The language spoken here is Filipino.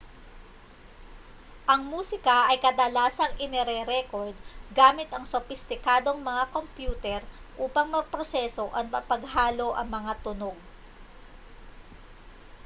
ang musika ay kadalasang inirerekord gamit ang sopistikadong mga kompyuter upang maproseso at mapaghalo ang mga tunog